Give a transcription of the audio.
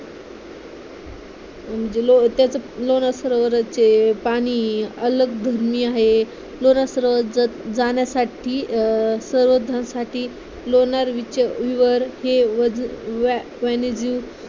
म्हणजे ते असं लोणार सरोवराचे पाणी अलग धर्मीय आहे लोणार सरोवर जाण्यासाठी अं संवर्धनासाठी लोणार